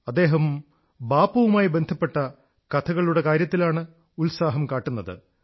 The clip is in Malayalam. അദ്ദേഹം ബാപ്പുവുമായി ബന്ധപ്പെട്ട കഥകളുടെ കാര്യത്തിലാണ് ഉത്സാഹം കാട്ടുന്നത്